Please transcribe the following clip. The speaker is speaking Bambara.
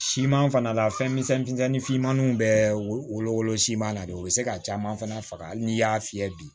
Siman fana la fɛn misɛnnin fitinin fimaninw bɛ wolo wolo siman na de u bɛ se ka caman fana faga hali n'i y'a fiyɛ bi